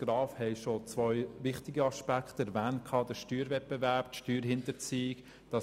Graf haben zwei wichtige Aspekte erwähnt: den Steuerwettbewerb und die Steuerhinterziehung.